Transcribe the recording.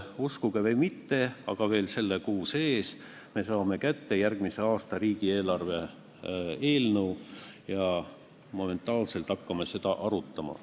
Uskuge või mitte, aga juba selle kuu sees me saame kätte järgmise aasta riigieelarve eelnõu ja momentaanselt hakkame seda arutama.